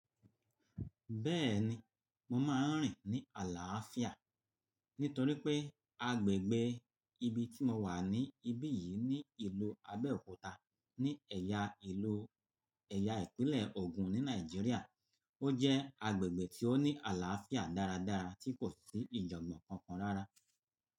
Bẹ́ẹ̀ni, mo máa ń rìn ní àlàáfíà. Nítorí pé agbègbè ibi tí mo wà ní ibí yìí ní ìlú Abẹ́òkúta ní ẹ̀yà ìlú ẹ̀yà ìpínlẹ̀ Ogun ní Nàìjíríà. Ó jẹ́ agbègbè tí ó ní àlàáfíà dáradára tí kò sí ìjàngbọ̀ kankan rárá.